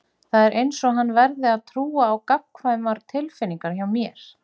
Það er einsog hann verði að trúa á gagnkvæmar tilfinningar hjá mér.